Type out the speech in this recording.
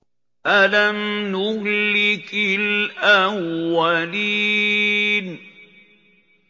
أَلَمْ نُهْلِكِ الْأَوَّلِينَ